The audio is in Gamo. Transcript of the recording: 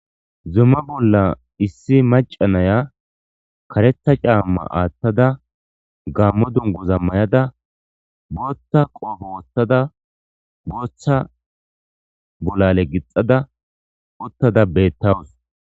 zumma bolla issi macanaya karetha caamma aathtada gammo dunguza mayada booththa qoofo wothtada bootha bolale gixada uttada beettawus